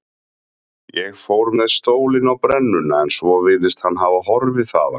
Ég fór með stólinn á brennuna en svo virðist hann hafa horfið þaðan.